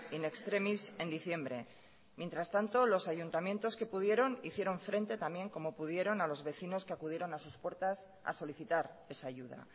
in extremis en diciembre mientras tanto los ayuntamientos que pudieron hicieron frente también como pudieron a los vecinos que acudieron a sus puertas a solicitar esa ayuda